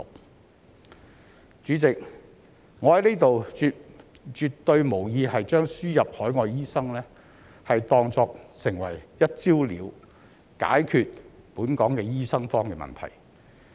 代理主席，我在此絕對無意把輸入海外醫生當作"一招了"，可以解決本港的醫生荒問題。